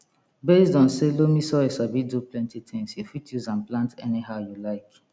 based on say loamy soil sabi do plenty tins you fit use am plant anyhow you like